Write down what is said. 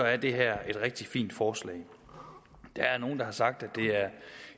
er det her et rigtig fint forslag der er nogle der har sagt at